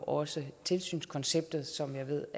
også tilsynskonceptet som jeg ved